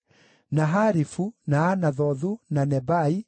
na Harifu, na Anathothu, na Nebai,